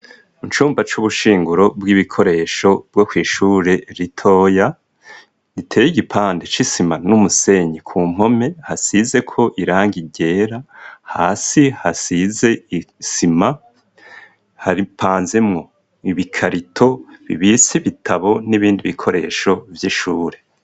Mu cumba c'ubushinguro bw'ibikoresho bwo kwishure litoya giteye igipande c'isima n'umusenyi ku mpome hasizeko iranga igera hasi hasize isima haripanzemwo ibikarito bibisi bitabo n'ibindi bikoresho vyihe shubure.